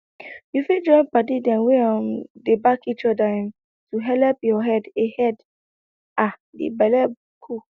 you fit join padi dem wey um dey back each other um to helep your head a head a d belle cool